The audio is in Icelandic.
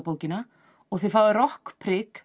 slangurorðabókina og þið fáið